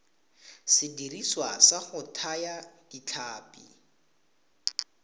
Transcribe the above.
sediriswa sa go thaya ditlhapi